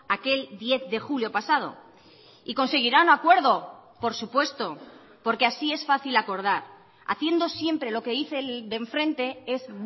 aquel diez de julio pasado y conseguirán acuerdo por supuesto porque así es fácil acordar haciendo siempre lo que dice el de enfrente es